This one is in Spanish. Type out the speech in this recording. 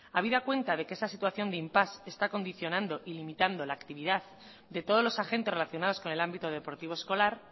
habida cuenta de que esa situación de impasse se está condicionando y limitando la actividad de todos los agentes relacionados con el ámbito deportivo escolar